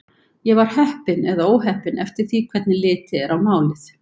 Ég var heppin eða óheppin eftir því hvernig litið er á málið.